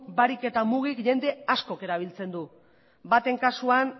barik eta mugik jende askok erabiltzen du baten kasuan